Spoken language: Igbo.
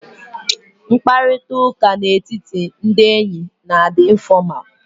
Mkparịta ụka na etiti ndị enyi na adị infọmalụ